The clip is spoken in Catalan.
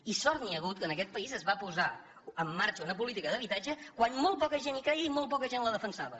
i sort n’hi ha hagut que en aquest país es va posar en marxa una política d’habitatge quan molt poca gent hi creia i molt poca gent la defensava